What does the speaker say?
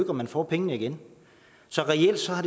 om man får pengene igen så reelt har